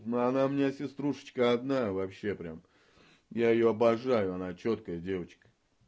ну она мне сеструшечка одна вообще прямо я её обожаю она чёткая девочка